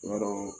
Tuma dɔ la